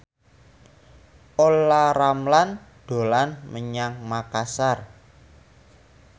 Olla Ramlan dolan menyang Makasar